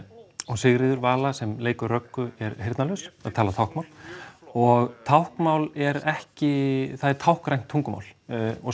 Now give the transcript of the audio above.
Sigríður Vala sem leikur er heyrnarlaus og talar táknmál og táknmál er ekki það er táknrænt tungumál og